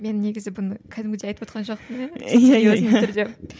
мен негізі бұны кәдімгідей айтывотқан жоқпын